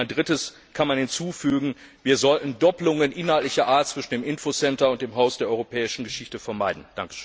Ein Drittes kann man hinzufügen Wir sollten Doppelungen inhaltlicher Art zwischen dem Infocenter und dem Haus der Europäischen Geschichte vermeiden.